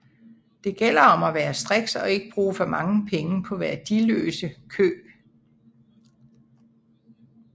Det gælder om at være striks og ikke bruge for mange penge på værdiløse køb